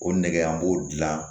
O nɛgɛ an b'o dilan